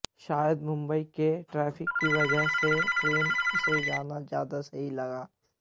शायद मुंबई के ट्रैफिक की वजह से उसे ट्रेन से जाना ज्यादा सही लगा